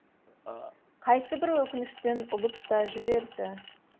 қайсыбірі өкініштен ұлып та жіберді